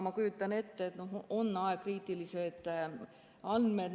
Ma kujutan ette, et on aegkriitilised andmed.